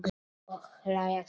Og hlæja saman.